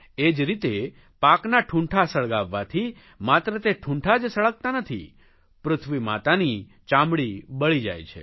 એ જ રીતે પાકના ઠુંઠા સળગાવવાથી માત્ર તે ઠુંઠા જ સળગતાં નથી પૃથ્વી માતાની ચામડી બળી જાય છે